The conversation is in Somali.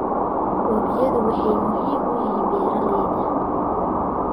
Webiyadu waxay muhiim u yihiin beeralayda.